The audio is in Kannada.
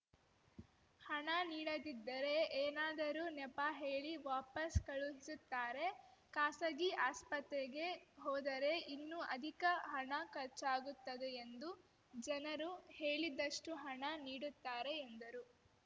ಹಣ ನೀಡದಿದ್ದರೆ ಏನಾದರೂ ನೆಪ ಹೇಳಿ ವಾಪಾಸ್‌ ಕಳುಹಿಸುತ್ತಾರೆ ಖಾಸಗೀ ಆಸ್ಪತ್ರೆಗೆ ಹೋದರೆ ಇನ್ನೂ ಅಧಿಕ ಹಣ ಖರ್ಚಾಗುತ್ತದೆ ಎಂದು ಜನರು ಕೇಳಿದಷ್ಟುಹಣ ನೀಡುತ್ತಾರೆ ಎಂದರು